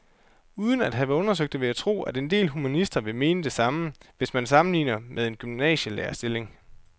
Uden at have undersøgt det vil jeg tro, at en del humanister vil mene det samme, hvis man sammenligner med en gymnasielærerstilling.